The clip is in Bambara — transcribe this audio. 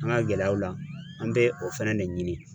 An ka gɛlɛyaw la, an be o fana de ɲini.